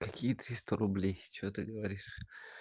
какие триста рублей с чего ты говоришь